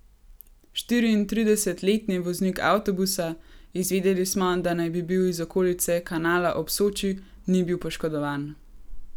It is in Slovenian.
Štiriintridesetletni voznik avtobusa, izvedeli smo, da naj bi bil iz okolice Kanala ob Soči, ni bil poškodovan.